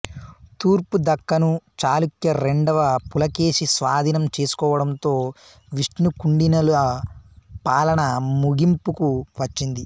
తూర్పు దక్కను చాళుక్య రెండవ పులకేషి స్వాధీనం చేసుకోవడంతో విష్ణుకుండినుల పాలన ముగింపుకు వచ్చింది